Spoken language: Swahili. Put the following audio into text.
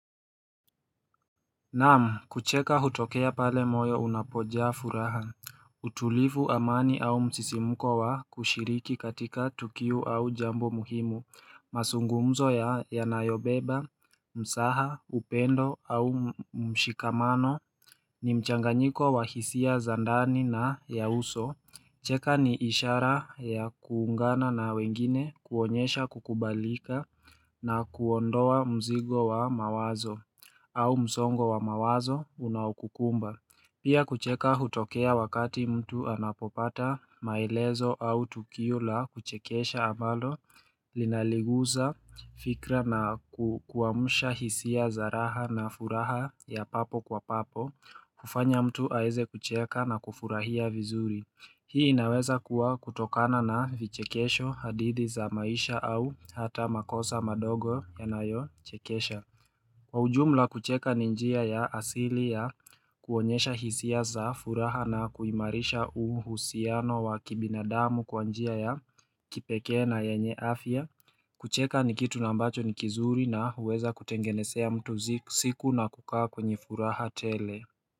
Naam kucheka hutokea pale moyo unapojaa furaha utulifu amani au msisimuko wa kushiriki katika tukio au jambo muhimu mazungumzo ya yanayobeba, mzaha, upendo au mshikamano ni mchanganyiko wa hisia za ndani na ya uso cheka ni ishara ya kuungana na wengine kuonyesha kukubalika na kuondoa mzigo wa mawazo au msongo wa mawazo unao kukumba Pia kucheka hutokea wakati mtu anapopata maelezo au tukio la kuchekesha ambalo Linaliguza fikra na kukuamusha hisia za raha na furaha ya papo kwa papo kufanya mtu aeze kucheka na kufurahia vizuri Hii inaweza kuwa kutokana na vichekesho hadithi za maisha au hata makosa madogo yanayo chekesha Kwa ujumla kucheka ni njia ya asili ya kuonyesha hisia za furaha na kuimarisha uhusiano wa kibinadamu kwa njia ya kipeke na yenye afya kucheka ni kitu na ambacho ni kizuri na huweza kutengenezea mtu siku na kukaa kwenye furaha tele.